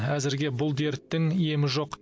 әзірге бұл дерттің емі жоқ